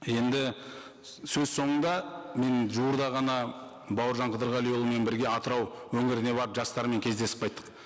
енді сөз сонында мен жуырда ғана бауыржан қыдырғалиұлымен бірге атырау өңіріне барып жастармен кездесіп қайттық